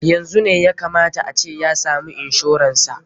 Yanzu ne ya ka mata a ce ya samu inshoran sa.